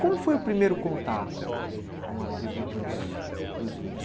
Como foi o primeiro contato com a tribo dos dos índios?